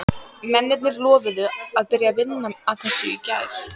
Mennirnir lofuðu að byrja að vinna að þessu í gær.